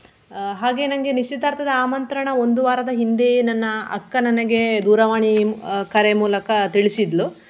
ಆಹ್ ಹಾಗೆ ನಂಗೆ ನಿಶ್ಚಿತಾರ್ಥದ ಆಮಂತ್ರಣ ಒಂದು ವಾರದ ಹಿಂದೆಯೇ ನನ್ನ ಅಕ್ಕ ನನಗೆ ದೂರವಾಣಿ ಆಹ್ ಕರೆ ಮೂಲಕ ತಿಳಿಸಿದ್ಲು.